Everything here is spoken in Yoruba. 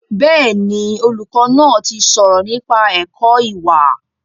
Bẹ́ẹ̀ni, olùkọ́ náà ti sọ̀rọ̀ nípa ẹ̀kọ́ ìwà